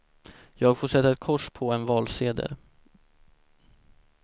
Jag får sätta ett kors på en valsedel.